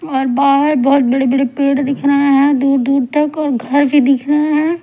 और बाहर बहुत बड़े बड़े पेड़ दिख रहे हैं दूर दूर तक और घर भी दिख रहे हैं।